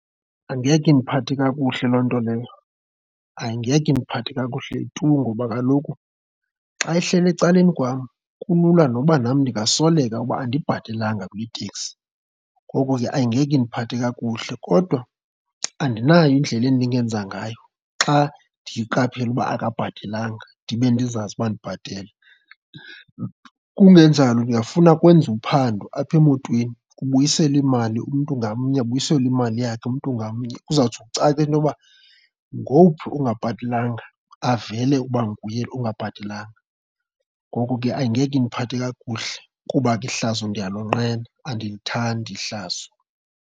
Angeke indiphathe kakuhle loo nto leyo. Angeke indiphathe kakuhle tu ngoba kaloku xa ehleli ecaleni kwam, kulula noba nam ndingasoleka uba andibhatalanga kule teksi ngoko ke angeke indiphathe kakuhle kodwa andinayo indlela endingenza ngayo xa ndiyiqaphele uba akabhatelanga ndibe ndizazi uba ndibhatele. Kungenjalo ndingafuna kwenziwe uphando apha emotweni kubuyiselwe imali, umntu ngamnye abuyiselwe imali yakhe, umntu ngamnye, kuzawutsho kucace intoba ngowuphi ongabhatelanga, avele ukuba nguye ungabhatelanga. Ngoko ke angeke indiphathe kakuhle kuba ke ihlazo ndiyalonqena, andilithandi ihlazo.